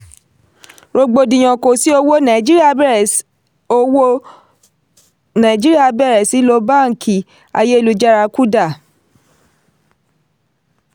rògbòdìyàn kò sí owó: nàìjíríà bẹ̀rẹ̀ owó: nàìjíríà bẹ̀rẹ̀ sí lo báńkì ayélujára (kuda).